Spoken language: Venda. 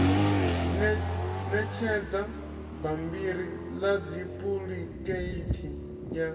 ṋetshedza bammbiri ḽa dupuḽikheithi ya